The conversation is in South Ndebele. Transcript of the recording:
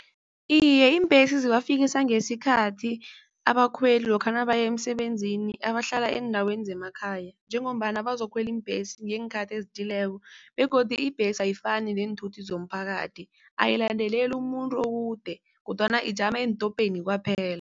Iye, iimbhesi zibafikisa ngesikhathi abakhweli lokha nabaya emsebenzini abahlala eendaweni zemakhaya. Njengombana bazokukhwela iimbhesi ngeenkhathi ezithileko, begodu ibhesi ayifani neenthuthi zomphakathi ayilandeleli umuntu okude kodwana ijama eentopeni kwaphela.